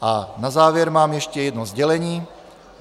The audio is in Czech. A na závěr mám ještě jedno sdělení.